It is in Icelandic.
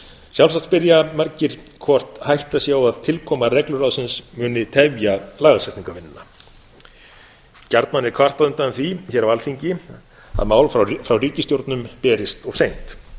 sjálfsagt spyrja margir hvort hætta sá á að tilkoma regluráðsins muni tefja lagasetningarvinnuna gjarnan er kvartað undan því hér á alþingi að mál frá ríkisstjórnum berist of seint